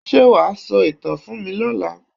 Ṣé wà á sọ ìtàn fún mí lọla?